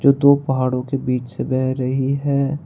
दो पहाड़ों के बीच से बह रही है।